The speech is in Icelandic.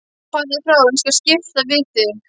Farðu frá, ég skal skipta við þig.